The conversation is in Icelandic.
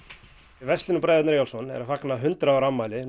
verslunin bræðurnir Eyjólfsson er að fagna eitt hundrað ára afmæli